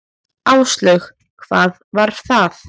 Áslaug: Hvað var það?